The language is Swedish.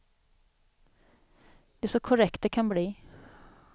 Det är så korrekt det kan bli.